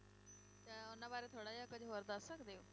ਤਾਂ ਉਹਨਾਂ ਬਾਰੇ ਥੋੜ੍ਹਾ ਜਿਹਾ ਕੁੱਝ ਹੋਰ ਦੱਸ ਸਕਦੇ ਹੋ?